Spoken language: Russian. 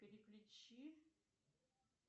переключи